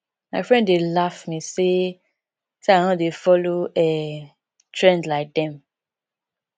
my friends dey laugh me say say i no dey follow um trend like dem